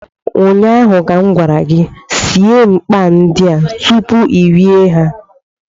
ụnyaahụ ka m gwara gị, sie mkpay ndị a tupu I rie ha